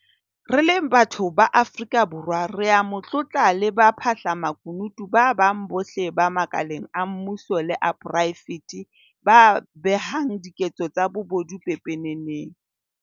Re le batho ba Afrika Borwa re a mo tlotla le baphahla makunutu ba bang bohle ba makaleng a mmuso le a poraefete ba behang diketso tsa bobodu pepeneneng.